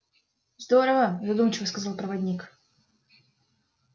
здорово задумчиво сказал проводник